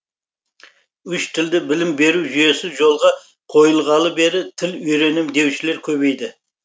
үш тілді білім беру жүйесі жолға қойылғалы бері тіл үйренемін деушілер көбейді